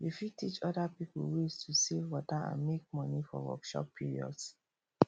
you fit teach oda pipo ways to save water and make money for workshop periods